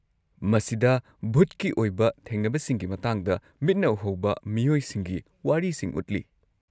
ꯃꯁꯤꯗ ꯚꯨꯠꯀꯤ ꯑꯣꯏꯕ ꯊꯦꯡꯅꯕꯁꯤꯡꯒꯤ ꯃꯇꯥꯡꯗ ꯃꯤꯠꯅ ꯎꯍꯧꯕ ꯃꯤꯑꯣꯏꯁꯤꯡꯒꯤ ꯋꯥꯔꯤꯁꯤꯡ ꯎꯠꯂꯤ꯫